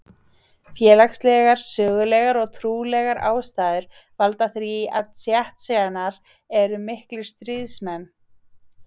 Félagslegar, sögulegar og trúarlegar ástæður valda því að Tsjetsjenar eru miklir stríðsmenn.